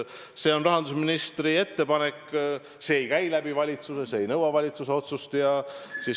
See on rahandusministri ettepanek, see ei käi läbi valitsuse, see ei nõua valitsuse otsust.